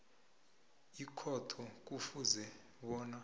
ikhotho kufuze bona